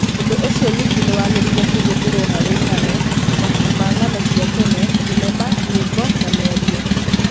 Ũndũ ũcio ningĩ nĩ wagĩrĩire kũhũthĩrũo harĩ ng'ano, mabuku ma ng'ano cia tene, thenema, nyĩmbo, na mĩario.